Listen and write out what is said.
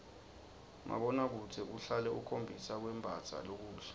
mabonakudze uhlale ukhombisa kwembatsa lokuhle